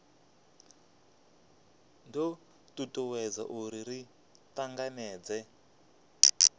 do tutuwedza uri ri tanganedzee